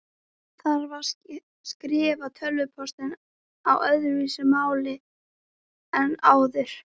Þarf að skrifa tölvupóst á öðruvísi máli en áður?